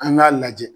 An k'a lajɛ